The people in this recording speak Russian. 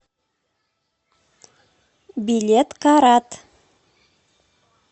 билет карат